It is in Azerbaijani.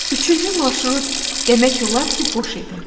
Üçüncü marşrut demək olar ki, boş idi.